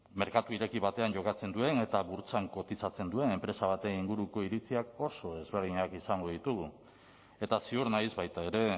merkatu ireki batean jokatzen duen eta burtsan kotizatzen duen enpresa baten inguruko iritziak oso ezberdinak izango ditugu eta ziur naiz baita ere